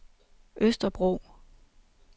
Østerbro